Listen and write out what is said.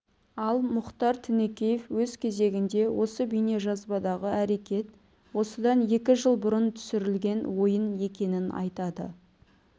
ал мұхтар тінікеев өз кезегінде осы бейнежазбадағы әрекет осыдан екі жыл бұрын түсірілген ойын екенін айтады